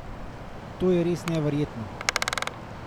To je res neverjetno!